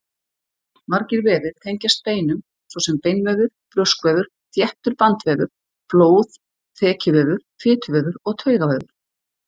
Margir vefir tengjast beinum, svo sem beinvefur, brjóskvefur, þéttur bandvefur, blóð, þekjuvefur, fituvefur og taugavefur.